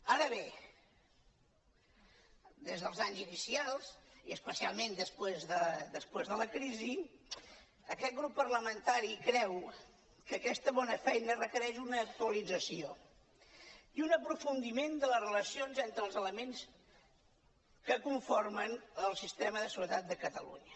ara bé des dels anys inicials i especialment després de la crisi aquest grup parlamentari creu que aquesta bona feina requereix una actualització i un aprofundiment de les relacions entre els elements que conformen el sistema de seguretat de catalunya